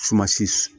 Sumasi